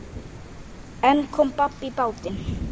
En kom babb í bátinn.